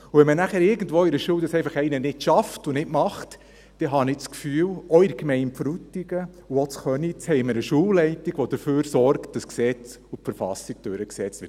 Und wenn dies einer irgendwo in einer Schule einfach nicht schafft und nicht tut, dann habe ich das Gefühl, dass wir auch in der Gemeinde Frutigen und auch in Köniz eine Schulleitung haben, die dafür sorgt, dass die Gesetze und die Verfassung durchgesetzt werden.